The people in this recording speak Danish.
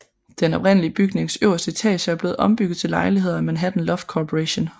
Den oprindelige bygnings øverste etager er blevet ombygget til lejligheder af Manhattan Loft Corporation